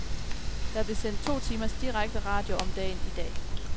Der blev sendt to timers direkte radio om dagen i dag.